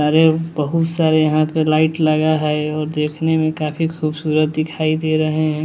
नारियल बहुत सारे यहां पे लाइट लगा है और देखने में काफ़ी खूबसूरत दिखाई दे रहे है।